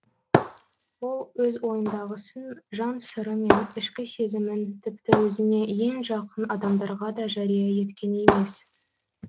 ол өз ойындағысын жан сыры мен ішкі сезімін тіпті өзіне ең жақын адамдарға да жария еткен емес